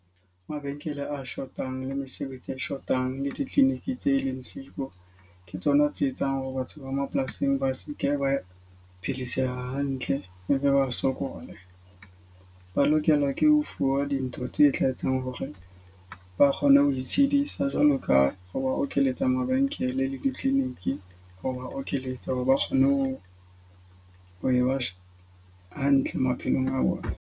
Mabenkele a shotang le mesebetsi e shotang le di-clinic tse leng siko. Ke tsona tse etsang hore batho ba mapolasing ba seke ba phedisa hantle e be ba sokole. Ba lokela ke ho fuwa dintho tse tla etsang hore ba kgone ho itshedisa jwalo ka ho ba okeletsa mabenkele le di-clinic. Ho ba okelletsa hore ba kgone ho ha e ba hantle maphelong a bona.